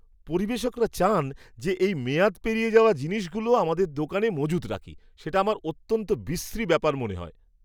পরিবেশকরা চান, যে এই মেয়াদ পেরিয়ে যাওয়া জিনিসগুলো আমাদের দোকানে মজুত রাখি, সেটা আমার অত্যন্ত বিশ্রী ব্যাপার মনে হয়।